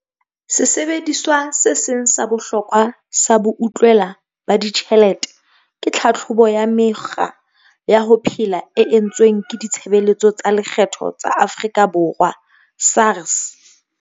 Sesebediswa se seng sa bohlokwa sa boutlwela ba ditjhelete ke tlhatlhobo ya mekgwa ya ho phela e entsweng ke Ditshebeletso tsa Lekgetho tsa Afrika Borwa, SARS.